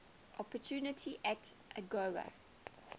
opportunity act agoa